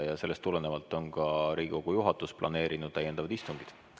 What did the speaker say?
Ja sellest tulenevalt on ka Riigikogu juhatus planeerinud täiendavad istungid.